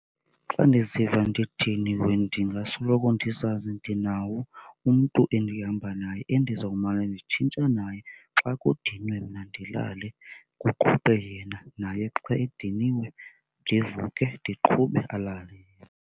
Xa ndiziva ndidiniwe ndingasoloko ndizazi ndinawo umntu endihamba naye endizawumana nditshintsha naye, xa kudinwe mna ndilale kuqhube yena, naye xa ediniwe ndivuke ndiqhube alale yena.